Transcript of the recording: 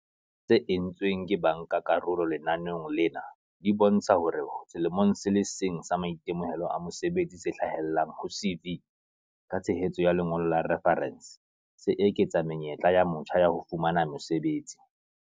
tse entsweng ke bankakarolo lenaneong lena di bontsha hore selemong se le seng sa maitemohelo a mosebetsi se hlahellang ho CV, ka tshehetso ya lengolo la refarense, se eketsa menyetla ya motjha ya ho fumana mosebetsi.